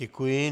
Děkuji.